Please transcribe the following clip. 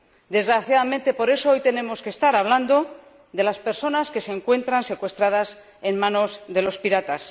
Desgraciadamente por eso, hoy tenemos que estar hablando de las personas que se encuentran secuestradas en manos de los piratas.